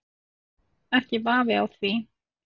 Ekki vafi á því.